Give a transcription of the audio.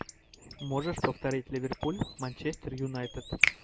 можешь повторить ливерпуль манчестер юнайтед